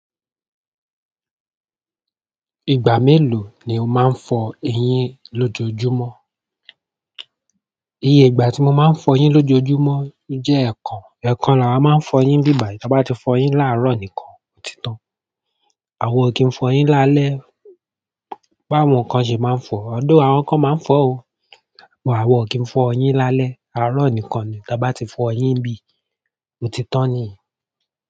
Ìgbà melo ni o ma nfo eyin lojoojumo? Iye ìgbà ti mo ma nfo eyin lojoojumo je ekan. Ẹ̀ẹ̀kan ni lawáa ńma nfọ eyín nibí bai. Tí a bá ti fọ eyín láàárọ̀ nìkan, òtí tan. Àwọn ò kí ń fọ eyín lálẹ́, báwọ́n kan ṣe máa ń fọ? Although, àwọn kan máa ń fọ o. Àwa ò kí ń fo eyín lálẹ́. Arọ̀ nìkan ni. Tí a bá ti fọ eyín nbí, òtí tan niyen.